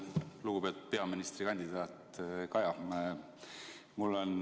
Lugupeetud peaministrikandidaat Kaja!